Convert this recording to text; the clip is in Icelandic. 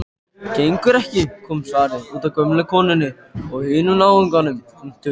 Gengur ekki,- kom svarið, útaf gömlu konunni og hinum náunganum.